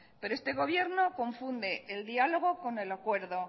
pero este gobierno confunde el diálogo con el acuerdo